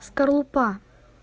скорлупа